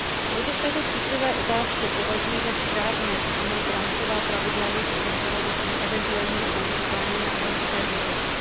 Proto v této citlivé otázce považuji za správné přijmout rámcová pravidla jejich eventuálního používání na evropské úrovni.